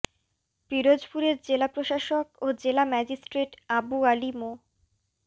পিরোজপুরের জেলা প্রশাসক ও জেলা ম্যাজিস্ট্রেট আবু আলী মো